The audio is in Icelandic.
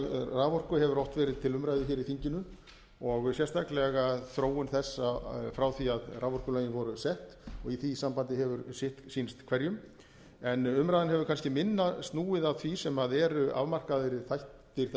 raforku hefur oft verið til umræðu í þinginu og sérstaklega þróun þess frá því að raforkulögin voru sett og í því sambandi hefur sitt sýnst hverjum en umræðan hefur kannski minna snúið að því sem eru afmarkaðri þættir þessa